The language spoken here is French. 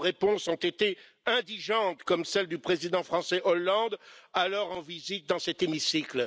Vos réponses ont été indigentes, comme celle du président français Hollande alors en visite dans cet hémicycle.